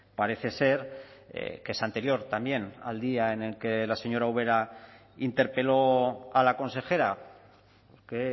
parece ser que es anterior también al día en el que la señora ubera interpeló a la consejera que